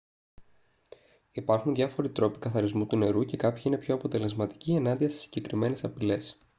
υπάρχουν διάφοροι τρόποι καθαρισμού του νερού και κάποιοι είναι πιο αποτελεσματικοί ενάντια σε συγκεκριμένες απειλές